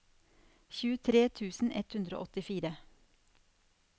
tjuetre tusen ett hundre og åttifire